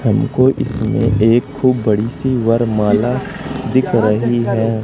हमको इसमें एक खूब बड़ी सी वर माला दिख रही है।